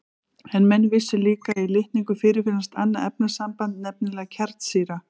En menn vissu líka að í litningum fyrirfinnst annað efnasamband, nefnilega kjarnsýra.